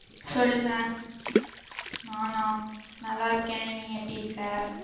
சொல்லுங்க நானா நல்ல இருக்கேன் நீ எப்படி இருக்க